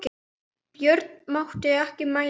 Björn mátti ekki mæla.